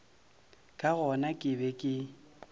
ka gona ke be ke